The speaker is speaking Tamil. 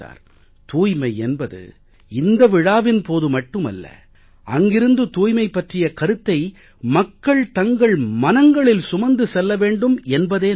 தூய்மை என்பது இந்த விழாவின் போது மட்டுமல்ல அங்கிருந்து தூய்மை பற்றிய கருத்தை மக்கள் தங்கள் மனங்களில் சுமந்து செல்ல வேண்டும் என்பதே நோக்கம்